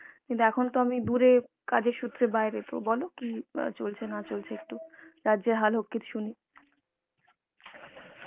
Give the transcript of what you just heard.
কিন্তু এখন তো আমি দুরে কাজের সূত্রে বাইরে তো বল কি চলছে না চলছে একটু রাজ্যের হাল সুনি